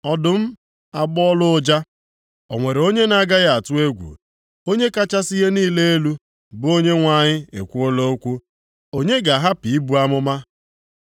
Ọdụm agbọọla ụja, o nwere onye na-agaghị atụ egwu? Onye kachasị ihe niile elu, bụ Onyenwe anyị ekwuola okwu, onye ga-ahapụ ibu amụma?